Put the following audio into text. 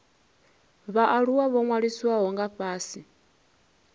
vhaaluwa ho ṅwalisiwaho nga fhasi